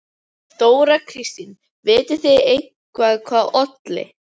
Þóra Kristín: Vitið þið eitthvað hvað olli?